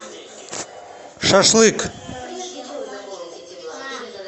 шашлык